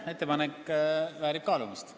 Ettepanek väärib kaalumist.